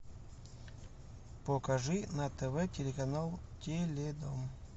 покажи на тв телеканал теледом